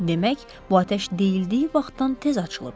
Demək, bu atəş deyildiyi vaxtdan tez açılıb.